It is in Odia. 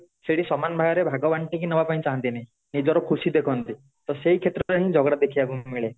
ସେଠି ସମାନ ଭାଗରେ ଭାଗ ବାଣ୍ଟିକି ନ ବାକୁ ଚାହାଁନ୍ତି ନି ନିଜର ଖୁସି ଦେଖନ୍ତି ତ ସେଇ କ୍ଷେତ୍ର ରେ ହିଁ ଝଗଡା ଦେଖିବା କୁ ମିଳେ